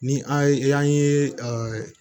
Ni an ye an ye ɛɛ